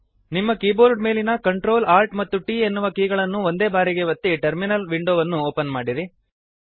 ನಿಮ್ಮ ಕೀಬೋರ್ಡ್ ಮೇಲಿನ Ctrl Alt and T ಎನ್ನುವ ಕೀಗಳನ್ನು ಒಂದೇ ಬಾರಿಗೆ ಒತ್ತಿ ಟರ್ಮಿನಲ್ ವಿಂಡೋವನ್ನು ಓಪನ್ ಮಾಡಿರಿ